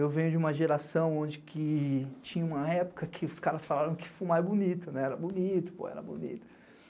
Eu venho de uma geração onde que tinha uma época que os caras falaram que fumar é bonito, era bonito, era bonito.